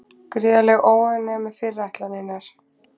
Gríðarleg óánægja er með fyrirætlanirnar